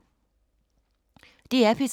DR P3